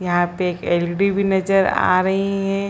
यहां पे एक एल.ई.डी. भी नजर आ रहीं हैं।